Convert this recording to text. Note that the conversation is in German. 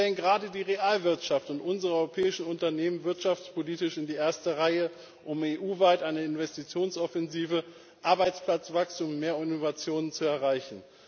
Wir stellen gerade die Realwirtschaft und unsere europäischen Unternehmen wirtschaftspolitisch in die erste Reihe, um EU weit eine Investitionsoffensive, Arbeitsplatzwachstum und mehr Innovationen zu erreichen.